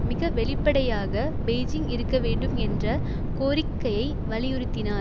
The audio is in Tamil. மிக வெளிப்படையாக பெய்ஜிங் இருக்க வேண்டும் என்ற கோரிக்கையை வலியுறுத்தினார்